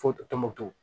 Fo tɔnbukutu